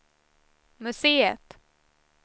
museet